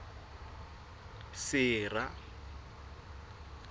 sera